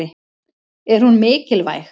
Er hún mikilvæg?